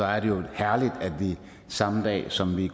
er det jo herligt at vi samme dag som vi